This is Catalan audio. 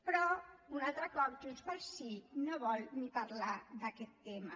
però un altre cop junts pel sí no vol ni parlar d’aquest tema